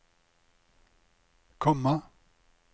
komma